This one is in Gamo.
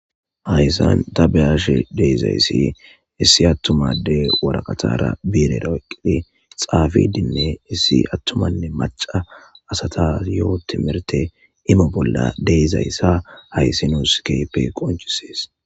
hayssan tabeyashe de'izayssa issi attumade waraqatara biirera oyiqqidi xaafidinne issi attumanne maca asata yoo timirte imo bolla de'izayssa haysi nuus keepe qoncisees